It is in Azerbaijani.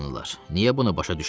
Niyə bunu başa düşmürsüz?